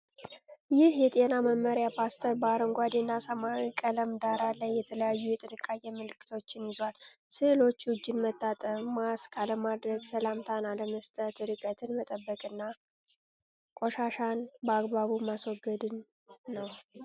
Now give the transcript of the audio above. ይህ የጤና መመሪያ ፖስተር በአረንጓዴና ሰማያዊ ቀለም ዳራ ላይ የተለያዩ የጥንቃቄ መልዕክቶችን ይዟል። ሥዕሎቹ እጅን መታጠብ፣ ማስክ አለማድረግ፣ ሰላምታ አለመስጠት፣ ርቀትን መጠበቅና ቆሻሻን በአግባቡ ማስወገድን ነ።